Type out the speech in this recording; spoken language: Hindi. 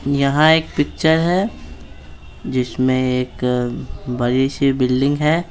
यहाँ एक पिक्चर है जिसमें एक बड़ी सी बिल्डिंग है।